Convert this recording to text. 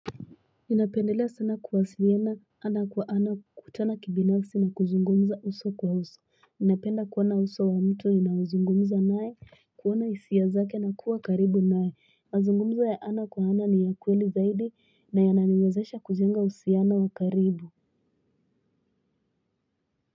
Ninapendelea sana kuwasiliana hana kwa hana kukutana kibinafsi na kuzungumuza uso kwa uso. Napenda kuona uso wa mtu ninaozungumuza nae, kuona isia zake na kuwa karibu nae. Mazungumzo ya hana kwa hana ni ya ukweli zaidi na ya naniwezesha kujenga uhusiano wa karibu.